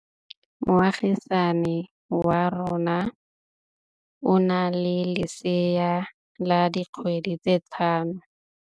Moagisane wa rona o na le lesea la dikgwedi tse tlhano.